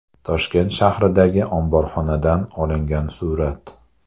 Toshkent shahridagi omborxonadan olingan surat.